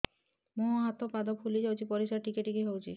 ମୁହଁ ହାତ ପାଦ ଫୁଲି ଯାଉଛି ପରିସ୍ରା ଟିକେ ଟିକେ ହଉଛି